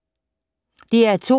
DR2